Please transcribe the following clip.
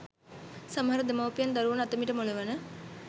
සමහර දෙමව්පියන් දරුවන් අත මිටමොලවන